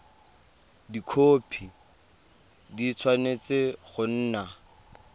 dikhopi di tshwanetse go nna